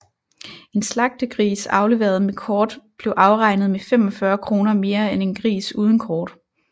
En slagtegris afleveret med kort blev afregnet med 45 kr mere end en gris uden kort